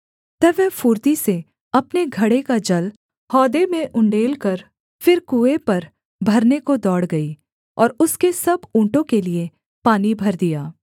तब वह फुर्ती से अपने घड़े का जल हौद में उण्डेलकर फिर कुएँ पर भरने को दौड़ गई और उसके सब ऊँटों के लिये पानी भर दिया